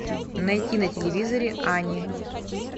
найти на телевизоре ани